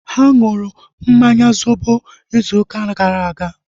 Ha nụrụ mmanya zobo izu ụka gara aga